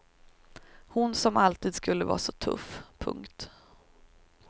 Hon som alltid skulle vara så tuff. punkt